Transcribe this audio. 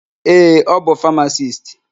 Ee, ọ bụ famasisti.